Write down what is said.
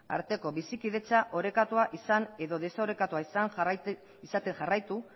arteko bizikidetza orekatua izan edo desorekatua izaten jarraitu